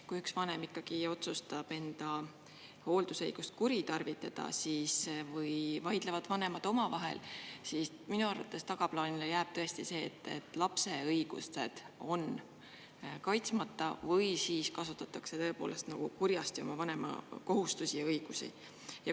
Kui üks vanem ikkagi otsustab enda hooldusõigust kuritarvitada või vaidlevad vanemad omavahel, siis minu arvates jääb tagaplaanile tõesti see, et lapse õigused on kaitsmata või siis kasutatakse nagu kurjasti oma vanemakohustusi ja ‑õigusi.